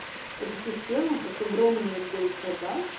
это система как огромный отдел продаж